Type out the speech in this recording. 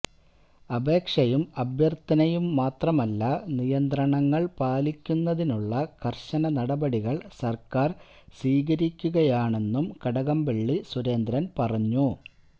അപേക്ഷയും അഭ്യര്ത്ഥനയും മാത്രമല്ല നിയന്ത്രണങ്ങള് പാലിക്കുന്നതിനുള്ള കര്ശന നടപടികള് സര്ക്കാര് സ്വീകരിക്കുകയാണെന്നും കടകംപള്ളി സുരേന്ദ്രന് പറഞ്ഞു